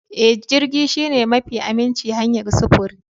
Ee, jirgi shine mafi aminci hanyar sufuri.